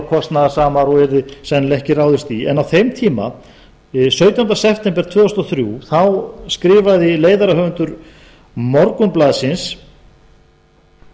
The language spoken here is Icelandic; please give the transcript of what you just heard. kostnaðarsamar og yrði sennilega ekki ráðist í en á þeim tíma sautjánda september tvö þúsund og þrjú þá skrifaði leiðarahöfundur morgunblaðsins